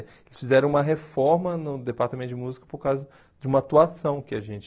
Eles fizeram uma reforma no departamento de música por causa de uma atuação que a gente...